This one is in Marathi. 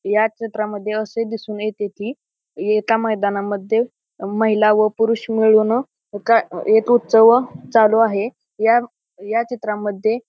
या चित्रामध्ये असे दिसून येते की एका मैदाना मध्ये अ महिला व पुरुष मिळून एका एक उत्सव चालू आहे या या चित्रामध्ये--